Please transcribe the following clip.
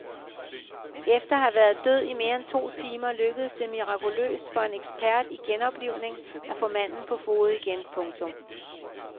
Efter at have været død i mere end to timer lykkedes det mirakuløst for en ekspert i genoplivning at få manden på fode igen. punktum